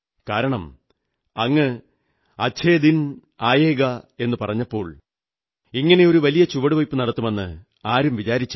കാരണം അങ്ങ് അച്ഛേ ദിൻ ആയേംഗേ എന്നു പറഞ്ഞപ്പോൾ ഇങ്ങനെയൊരു വലിയ ചുവടുവയ്പ്പു നടത്തുമെന്ന് ആരും വിചാരിച്ചില്ല